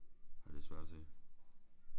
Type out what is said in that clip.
Det er lidt svært at se